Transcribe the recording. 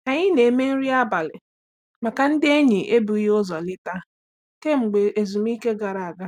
Anyị na-eme nri abalị maka ndị enyi ebughị ụzọ leta kemgbe ezumike gara aga.